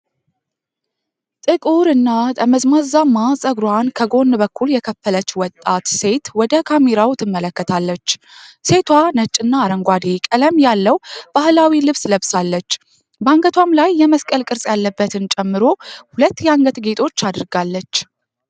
ጥቁር እና ጠመዝማዛ ፀጉሯን ከጎን በኩል የከፈለች ወጣት ሴት ወደ ካሜራው ትመለከታለች። ሴቷ ነጭና አረንጓዴ ቀለም ያለው ባህላዊ ልብስ ለብሳለች፤ በአንገቷም ላይ የመስቀል ቅርጽ ያለበትን ጨምሮ ሁለት የአንገት ጌጦች አድርጋለች።